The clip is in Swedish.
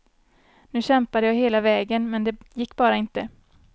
Nu kämpade jag hela vägen, men det gick bara inte.